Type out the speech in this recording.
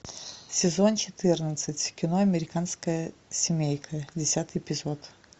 сезон четырнадцать кино американская семейка десятый эпизод